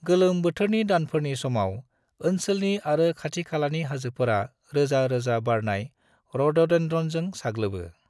गोलोम बोथोरनि दानफोरनि समाव, ओनसोलनि आरो खाथि-खालानि हाजोफोरा रोजा रोजा बारनाय रडडेन्ड्रनजों साग्लोबो।